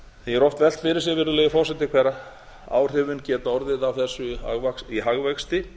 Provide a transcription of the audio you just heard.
er oft velt fyrir sér virðulegi forseti hver áhrifin geta orðið í hagvexti